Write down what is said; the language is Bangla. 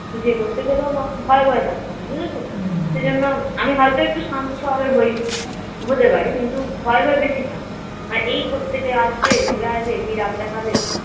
কিছু করতে গেলেও মা ভয়ে ভয়ে থাকতাম বুঝেছ তো সেজন্য আমি হয়ত একটু শান্ত স্বভাবের হয়েছি হতে পারে কিন্তু ভয়ে ভয়ে বেশি থাকতাম মানে এই কোথা থেকে আসবে ঘুরে আসবে সেই রাগ দেখাবে